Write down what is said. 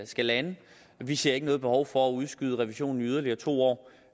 skal lande vi ser ikke noget behov for at udskyde revisionen i yderligere to år